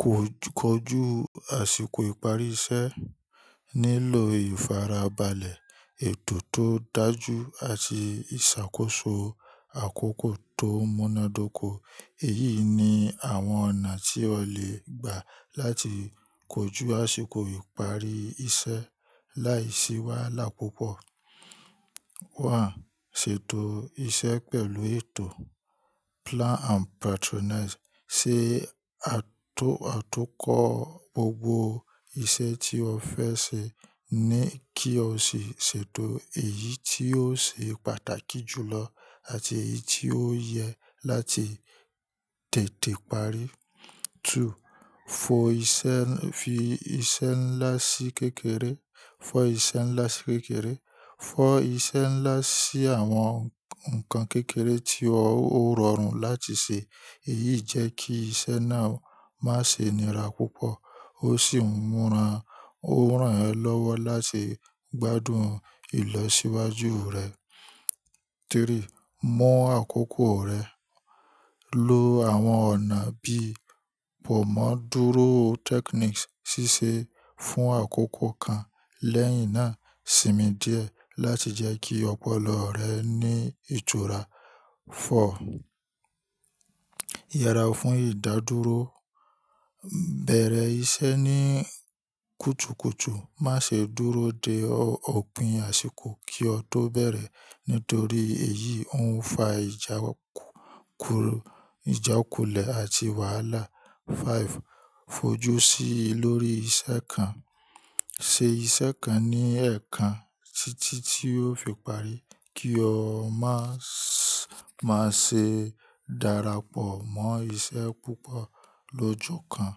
Ko kọ̀ju àsìkò ìparí isẹ́ nílò ìfarabalẹ̀, ètò tó dájú àti ìsàkóso àkókò tò múnádóko. Èyíi ni àwọn ọ̀nà tí o lè gbà láti kojú àsìkò ìparí isě láìsí wàhálà púpọ̀. One: ṣètò isẹ́ pẹ̀lú ètò. Plan and patronize. Sé a tó àtúnkọ gbogbo iṣẹ́ tí o fẹ́ ṣe ní kí o sì ṣètò èyí tí ó ṣe pàtàkì jùlọ àti èyí tí ó yẹ láti tètè parí. Two: fo isẹ́, fi iṣẹ́ ńlá sí kékeré, fọ́ isẹ́ ńlá sí kékeré. Fọ ise nla si awọn nkan kekere ti o rọrun lati ṣe. Èyíí jẹ ki isẹ́ náà má ṣe nira púpọ̀ ó sì múra, o rān ẹ́ lọ́wọ́ láti gbádùn ìlọsíwájú rẹ. Three: mu àkókò rẹ ló lo àwọn ọ̀nà bíi pọ̀ mọ́ dúró technique síse fún àkókò kan lẹ́yìn náà sinmi díẹ̀ láti jẹ́ kí ọpọlọ rẹ ní ìtura. Four: yara fun idaduro. Bẹ̀rẹ̀ iṣẹ́ ní kùtùkùtù, máṣe dúró de òpin àsìkò kí o tó bẹ̀rẹ̀ nítorí èyí ó ń fa ìjáku, ìjákulẹ̀ àti wàhálà. Five: fojúsí lórí iṣẹ́ kan. Se iṣẹ́ kan ní ẹ̀ẹ̀kan títí tí ó fi parí. Kí o má, má ṣe darapọ̀ mọ́ iṣẹ́ púpọ̀ lójú kan.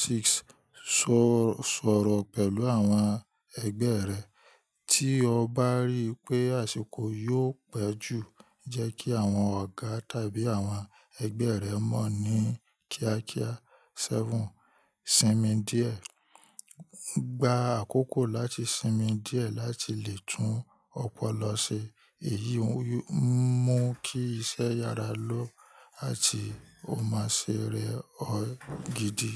Six: sọ, sọrọ pẹlu awọn ẹgbẹ rẹ. Tí o bá ríi pé àsìkò yóò pẹ́ jù, jẹ́ kí áwọn ọ̀gá tàbí àwọn ẹgbẹ́ rẹ mọ̀ ní kíákíá. Seven: sinmi diẹ. Gba akoko lati sinmi diẹ lati le tun ọpọlọ ṣe. Èyí n mú kí iṣẹ́ yára lọ àti o ma ṣe rẹ̀ ọ́ gidi.